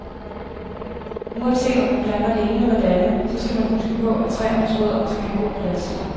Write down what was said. Uanset om man planter det ene eller det andet, så skal man huske på, at træernes rødder skal have god plads.